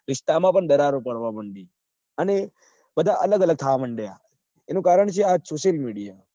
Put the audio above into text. રીસ્તા માં પણ દરરારો પાડવા માંડી અને બધા અલગ અલગ થવા માંડ્યા એનું કારણ છે આ social media